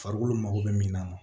Farikolo mago bɛ min na